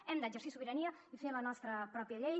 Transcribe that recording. hem d’exercir sobirania i fer la nostra pròpia llei